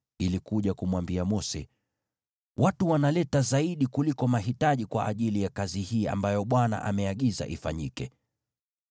wakaja na kumwambia Mose, “Watu wanaleta vitu vingi kuliko tunavyohitaji kwa ajili ya kazi hii ambayo Bwana ameagiza ifanyike.”